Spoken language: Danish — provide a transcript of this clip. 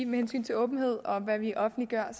med hensyn til åbenhed om hvad vi offentliggør